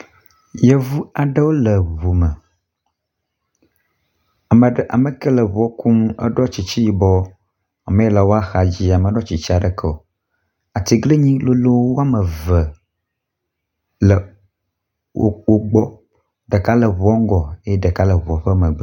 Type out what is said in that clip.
Yevu aɖewo le ŋu me. Ame ɖe ame ke le eŋua kum eɖɔ tsitsi yibɔ. Ame yi le woaxa dzi meɖɔ tsitsi aɖeke o. Atiglinyi lolo wɔme eve wo le wo gbɔ. Ɖeka le ŋua ŋgɔ eye ɖeka le ŋua ƒe megbe.